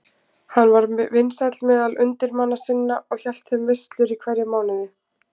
Hann var vinsæll meðal undirmanna sinna og hélt þeim veislur í hverjum mánuði.